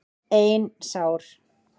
Ein sár.